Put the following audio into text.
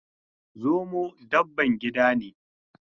Zomo dabban gida ne.